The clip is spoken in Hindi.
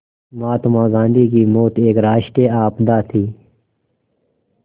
महात्मा गांधी की मौत एक राष्ट्रीय आपदा थी